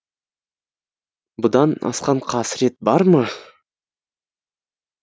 бұдан асқан қасірет бар ма